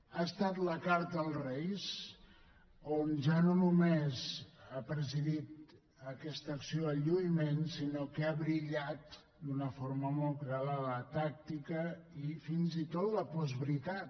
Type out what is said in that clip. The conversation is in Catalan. ha estat la carta als reis on ja no només ha presidit aquesta acció de lluïment sinó que ha brillat d’una forma molt clara la tàctica i fins i tot la postveritat